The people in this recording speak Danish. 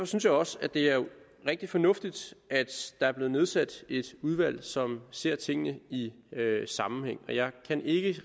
synes jeg også at det er rigtig fornuftigt at der er blevet nedsat et udvalg som ser tingene i sammenhæng og jeg kan ikke